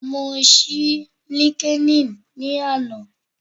Mo ṣí LinkedIn ni ana